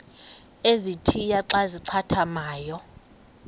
ezintia xa zincathamayo